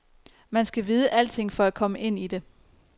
Man skal vide alting for at komme ind i det.